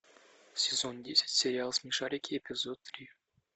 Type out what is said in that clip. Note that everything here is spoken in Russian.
сезон десять сериал смешарики эпизод три